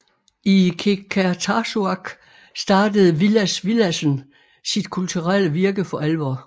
I Qeqertarsuaq startede Villads Villadsen sit kulturelle virke for alvor